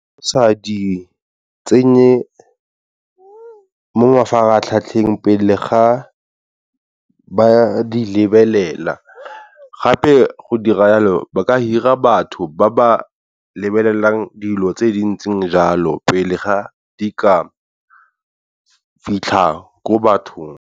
Sa di tsenye mo mafaratlhatlheng pele ga ba di lebelela gape go dira yalo ba ka hira batho ba ba lebelelang dilo tse di ntseng jalo pele ga di ka fitlha ko bathong.